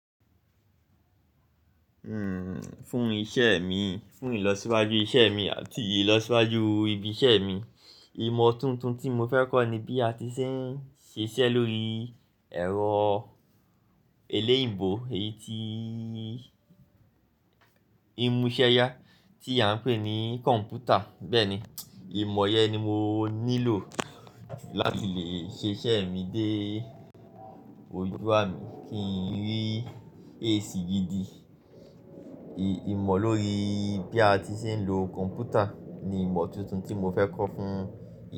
Hmm, fún iṣẹ́e mi, fún ìlọsíwájú iṣẹ́e mi àti ìlọsíwájú ibi iṣẹ́ mi, ìmọ̀ tuntun tí mo fẹ́ kọ́ ni bí a ti ṣé ń ṣiṣẹ́ lórií ẹ̀rọ eléyìínbó, èyí tíi n muṣẹ́yá tí a ń pè ní kọ̀ǹpútà. Bẹ́ẹ̀ni, ìmọ̀ yẹn ni mo nílò láti lè ṣe iṣẹ́e mi dé ojú ami kí n rí èsì gidi. Ìmọ̀ lórií bí a ti ṣé ń lo kọ̀ǹpútà ni ìmọ̀ tuntun tí mo fẹ́ kọ́ fún.